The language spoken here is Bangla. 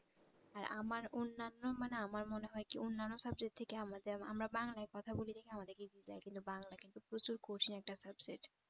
হ্যাঁ আমার অন্যান্য মানে আমার মনে হয় কি অন্যান্য subject থেকে আমাদের আমরা বাংলায় কথা বলি দেখে আমাদেরকে বাংলা কিন্তু প্রচুর কঠিন একটা subject